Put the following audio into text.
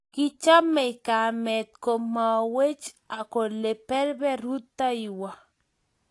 kichamei kamet ko mwowech kole berber rutoiwo